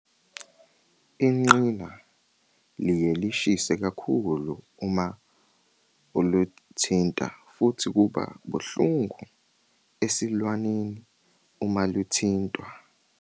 Ingqina liye lishise kakhulu uma uluthinta futhi kuba buhlungu esilwaneni uma luthintwa.